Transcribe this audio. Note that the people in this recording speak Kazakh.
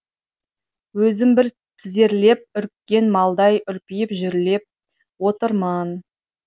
өзім бір тізерлеп үріккен малдай үрпиіп жүрелеп отырмын